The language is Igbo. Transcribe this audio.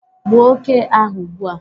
Gbuo oke ahu ugbua